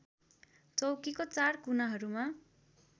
चौकीको चार कुनाहरूमा